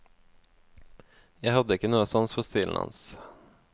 Jeg hadde ikke noe sans for stilen hans.